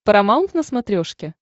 парамаунт на смотрешке